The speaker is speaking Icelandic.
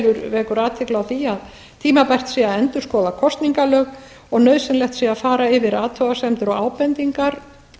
vekur athygli á því að tímabært sé að endurskoða kosningalög og nauðsynlegt sé að fara yfir athugasemdir og ábendingar